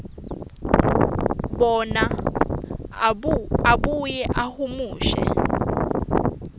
bona abuye ahumushe